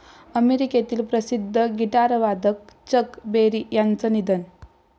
अमेरिकेतील प्रसिद्ध गिटारवादक चक बेरी यांचं निधन